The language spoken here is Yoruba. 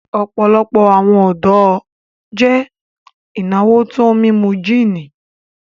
Ọ̀pọ̀lọpọ̀ awọn ọdọ jẹ́ ináwó tó mímú jìní